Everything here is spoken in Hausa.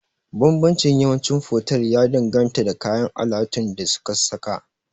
Banbancin yawanci fotel ya danganta da kayan alatun da suka saka